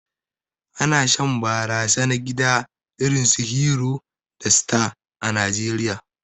Ana shan barasa na gida irinsu "Hero" da "Star" a Najeriya.